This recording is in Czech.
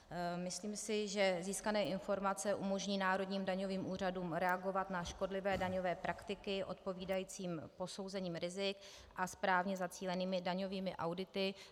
Myslím si, že získané informace umožní národním daňovým úřadům reagovat na škodlivé daňové praktiky odpovídajícím posouzením rizik a správně zacílenými daňovými audity.